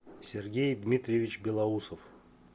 сергей дмитриевич белоусов